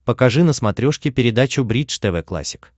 покажи на смотрешке передачу бридж тв классик